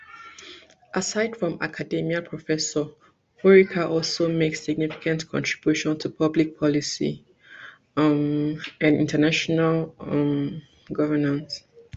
aside from academia professor worika also make significant contributions to public policy um and international um governance